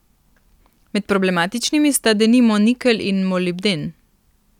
Med problematičnimi sta denimo nikelj in molibden.